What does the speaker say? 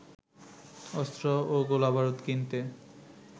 অস্ত্র ও গোলাবারুদ কিনতে